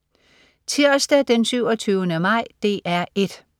Tirsdag den 27. maj - DR 1: